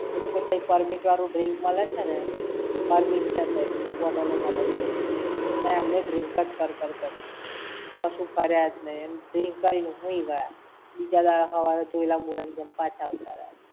એક તો તઇ permit વાળું drink મળે છે ને! permit છે તઇ. Bottle ઓ મળે છે. એમને drink જ કર-કર કર્યું. કશું ફર્યા જ નઇ. Drink કરીને હુઈ ગયા. બીજા દાડે હવારે ધોયલા મોઢાની જેમ પાછા આવતા રયા.